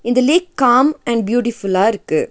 இந்த lake calm and பியூட்டிஃபுல்லாருக்கு .